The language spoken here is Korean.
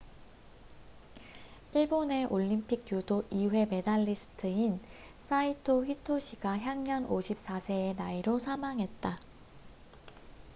일본의 올림픽 유도 2회 메달리스트인 사이토 히토시가 향년 54세의 나이로 사망했다